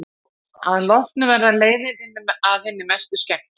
Að lokum verða leiðindin að hinni mestu skemmtun.